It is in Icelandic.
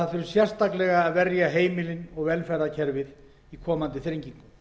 flokknum að einkum þurfi að verja heimilin og velferðarkerfið í komandi þrengingum